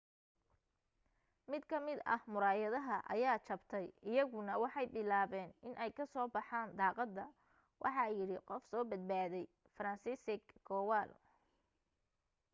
mid ka mid ah muraayada ayaa jabtay iyaguna waxay bilaabeen iney ka soo baxan daqada waxa yidhi qof soo badbaday franciszek kowal